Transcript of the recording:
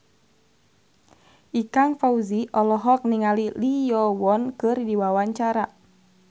Ikang Fawzi olohok ningali Lee Yo Won keur diwawancara